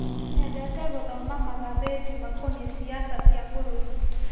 Nyendete gũthoma magathĩti makonie ciaca cia bũruri.